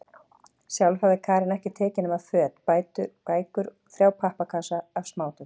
Sjálf hafði Karen ekkert tekið nema föt, bækur og þrjá pappakassa af smádóti.